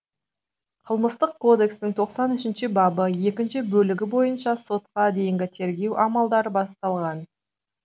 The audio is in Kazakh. қылмыстық кодекстің тоқсан үшінші бабы екінші бөлігі бойынша сотқа дейінгі тергеу амалдары басталған